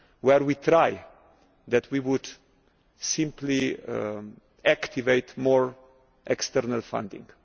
funds. Where we tried that, we would simply activate more external funding.